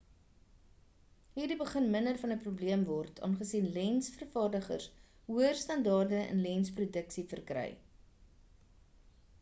hierdie begin minder van 'n probleem word aangesien lens vervaardigers hoër standaarde in lens produksie verkry